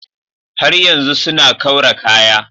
Har yanzu suna kaura kaya.